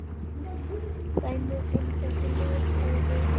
Dæmi um þessi lyf eru